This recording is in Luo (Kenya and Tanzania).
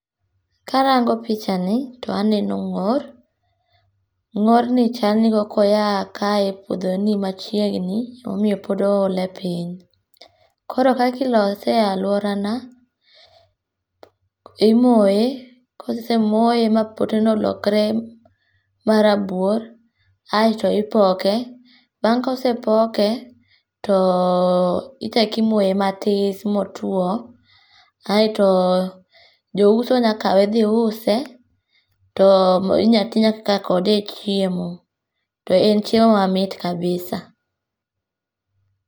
Karango pichani to aneno ng'or, ng'or ni chal ni korka oya kaye e puodho ni machiegni ema omiyo pod oole piny. Koro kaka ilose e aluorana imoye, kosemoye ma poteno olokre marabuor, aito ipoke bang kosepoke to ichak imoye matis ma otuo kaito jouso nya kawe dhi use to inyal tii kode e chiemo to en chiemo ma mit kabisa